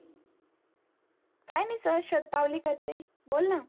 काही नाही सहज शत पावली करते बोल ना